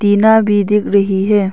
टीना भी दिख रही है।